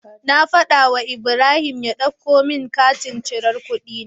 Na fada wu Ibrahim ya ɗauko mun katin cirar kuɗi na